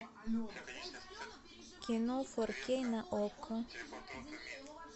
кино фор кей на окко